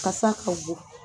Kasa ka bon